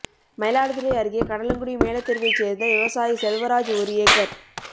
மயிலாடுதுறை அருகே கடலங்குடி மேலத்தெருவைச் சேர்ந்த விவசாயி செல்வராஜ் ஒரு ஏக்கர்